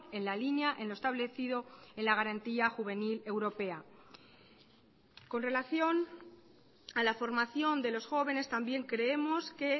en la línea en lo establecido en la garantía juvenil europea con relación a la formación de los jóvenes también creemos que